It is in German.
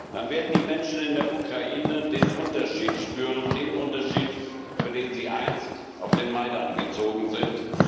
Dann werden die Menschen in der Ukraine den Unterschied spüren den Unterschied, für den sie einst auf den Majdan gezogen sind.